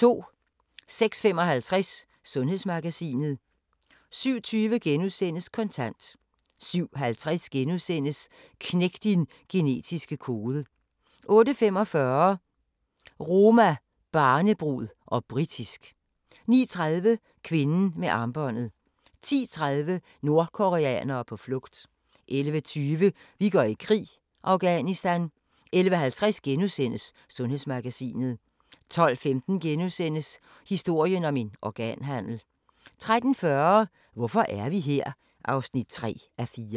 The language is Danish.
06:55: Sundhedsmagasinet 07:20: Kontant * 07:50: Knæk din genetiske kode * 08:45: Roma, barnebrud - og britisk 09:30: Kvinden med armbåndet 10:30: Nordkoreanere på flugt 11:20: Vi går i krig: Afghanistan 11:50: Sundhedsmagasinet * 12:15: Historien om en organhandel * 13:40: Hvorfor er vi her? (3:4)